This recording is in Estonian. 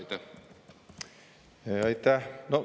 Aitäh!